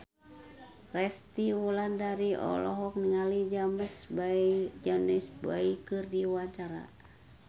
Resty Wulandari olohok ningali James Bay keur diwawancara